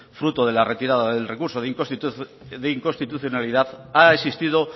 fruto de la retirada del recurso de inconstitucionalidad ha existido